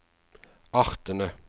artene